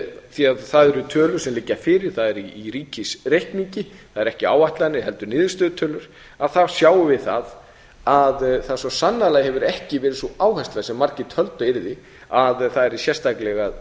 því það eru tölur sem liggja fyrir það er í ríkisreikningi það eru ekki áætlanir heldur niðurstöðutölur þar sjáum við það að það svo sannarlega hefur ekki verið sú áhersla sem margir töldu að yrði að